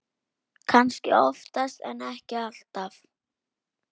Kannski oftast en ekki alltaf.